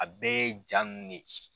A bɛɛ ye ja nunnu de ye.